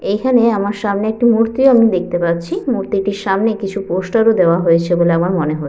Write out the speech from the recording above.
এইখানে আমার সামনে একটি মূর্তি ও আমি দেখতে পাচ্ছি মূর্তিটির সামনে কিছু পোস্টার -ও দেওয়া হয়েছে বলে আমার মনে হয়।